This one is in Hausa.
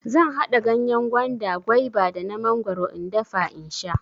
Zan haɗa ganyen gwanda, gwaiba da na mangwaro in dafa in sha.